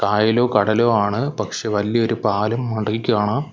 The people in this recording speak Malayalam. കായലോ കടലോ ആണ് പക്ഷേ വല്ല്യോരു പാലം കാണാം.